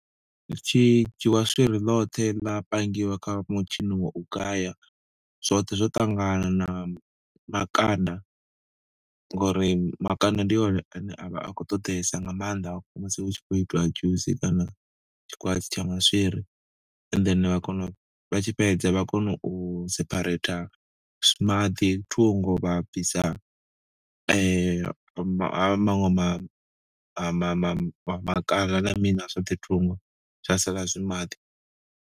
Hu shidzhiwa swiri ḽoṱhe ḽa pangiwa kha mutshini wa u gaya zwoṱhe zwo ṱangana na makanda ngori makanda ndi one ane a vha a khou ṱoḓesa nga maanḓa musi hu tshi khou itiwa dzhusi kana tshikwatshi tsha maswiri and then vha kona vha tshi fhedza vha kono u sephareitha maḓi thungo vha bvisa ma ma maṅwe ma ma ma ma kanda na mini na zwoṱhe thungo zwa sala zwi maḓi.